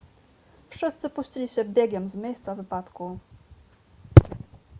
wszyscy puścili się biegiem z miejsca wypadku